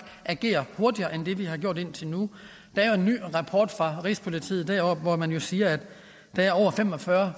agerer hurtigere end vi har gjort indtil nu der er en ny rapport fra rigspolitiet deroppe hvori man jo siger at der er